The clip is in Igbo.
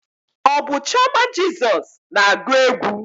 Ọ bụ chioma Jezos na-agụ egwu?